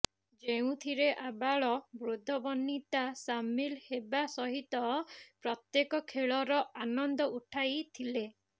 ଯେଉଁଥିରେ ଆବାଳ ବୃଦ୍ଧବନିତା ସାମିଲ ହେବା ସହିତ ପ୍ରତ୍ୟେକ ଖେଳର ଆନନ୍ଦ ଉଠାଇଥିଲେ